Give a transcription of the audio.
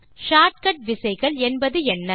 short cut விசைகள் என்பதென்ன160